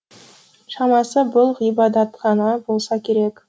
шамасы бұл ғибадатхана болса керек